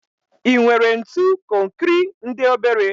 I nwere ntu konkri ndi obere?